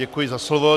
Děkuji za slovo.